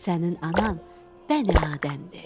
Sənin anan Bəni Adəmdir.